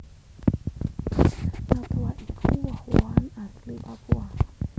Matoa iku woh wohan asli Papua